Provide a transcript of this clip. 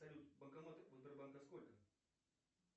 салют банкоматы у сбербанка сколько